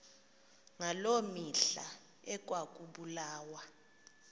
ngaloo mihla ekwakubulawa